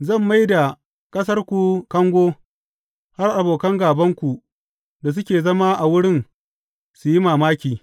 Zan mai da ƙasarku kango har abokan gābanku da suke zama a wurin su yi mamaki.